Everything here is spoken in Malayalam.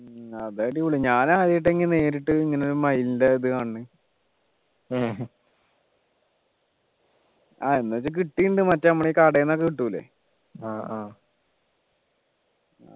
അതടിപൊളിയാ ഞാൻ ആദ്യായിട്ട ഇങ്ങനെ നേരിട്ട് ഇങ്ങനെ ഒരു മയിലിൻ്റെ ഇത് കാണുന്ന് ആഹ് എന്ന് വച്ച കിട്ടിട്ടുണ്ട് മറ്റേ നമ്മുടെ ഈ കടയിൽന്നൊക്കെ കിട്ടൂലെ